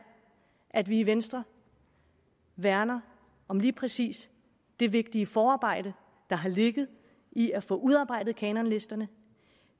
at vi i venstre værner om lige præcis det vigtige forarbejde der har ligget i at få udarbejdet kanonlisterne